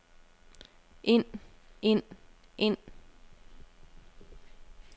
ind ind ind